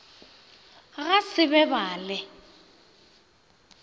ga se be ba le